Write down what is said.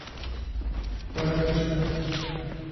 коротышка